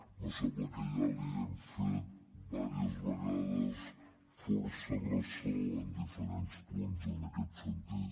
me sembla que ja ens n’hem fet diverses vegades força ressò en diferents punts en aquest sentit